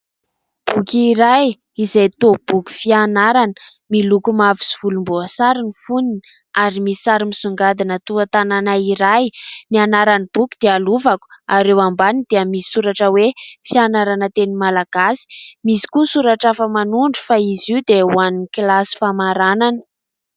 Boky iray izay toa boky fianarana miloko mavo sy volomboasary ny fonony ary misy sary misongadina toa tanàna iray. Ny anaran'ny boky dia lovako ary eo ambaniny dia misy soratra hoe fianarana teny malagasy, misy koa soratra hafa manondro fa izy io dia ho an'ny kilasy famaranana.